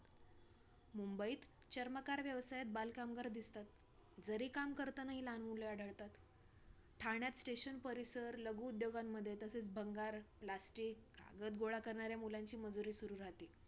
मुंबईत चर्मकार व्यवसायात बालकामगार दिसतात, जरीकाम करतानाही लहान मुले आढळतात, ठाण्यात station परिसर, लघु उद्योगांमध्ये, तसेच भंगार, plastic आणि कागद गोळा करणाऱ्या मुलांची मजुरी सुरू राहते.